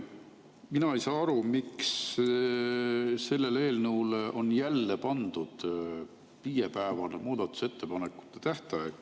Mina ei saa aru, miks sellele eelnõule on jälle pandud viiepäevane muudatusettepanekute tähtaeg.